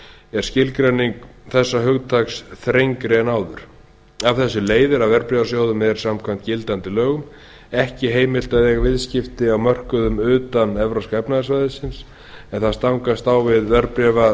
er skilgreining þessa hugtaks þrengri en áður af þessu leiðir að verðbréfasjóðum er samkvæmt gildandi lögum ekki heimilt að eiga viðskipti á mörkuðum utan evrópska efnahagssvæðisins en það stangast á við